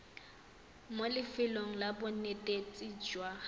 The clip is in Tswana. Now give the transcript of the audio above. mo lefelong la bonetetshi jwa